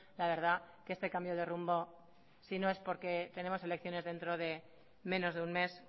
la verdad que este cambio de rumbo si no es porque tenemos elecciones dentro de menos de un mes